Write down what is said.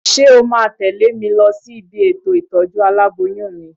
Ṣé o máa tẹ̀lé mi lọ sí ibi ètò ìtọ́jú aláboyún mi?